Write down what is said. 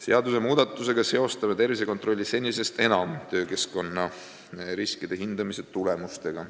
Seadusmuudatusega seostame tervisekontrolli senisest enam töökeskkonna riskide hindamise tulemustega.